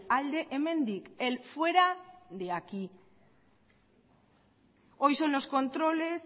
alde hemendik el fuera de aquí hoy son los controles